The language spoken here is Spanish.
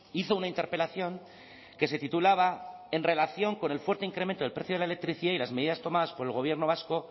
hizo una interpelación que se titulaba en relación con el fuerte incremento del precio de la electricidad y las medidas tomadas por el gobierno vasco